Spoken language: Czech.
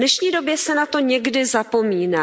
V dnešní době se na to někdy zapomíná.